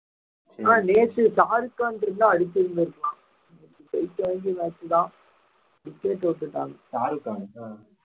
ஆனா நேத்து ஷாருக்கான் இருந்தா அடிச்சதுல இருக்கலாம்